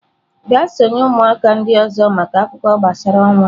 Gaa sonye ụmụaka ndị ọzọ maka akụkọ gbasara ọnwa!.